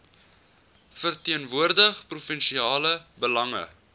verteenwoordig provinsiale belange